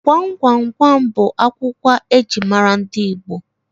Gwam Gwam Gwam bụ agwụgwa eji mara ndị Igbo